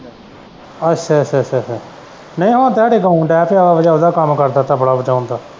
ਅੱਛਾ ਅੱਛਾ ਅੱਛਾ ਅੱਛਾ ਨਹੀਂ ਹੁਣ ਤੇ ਇਹ ਗਾਉਣ ਡੈ ਪਿਆ ਓਹਦਾ ਕੰਮ ਕਰਦਾ ਪਿਆ ਤਬਲਾ ਵਜਾਉਣ ਦਾ।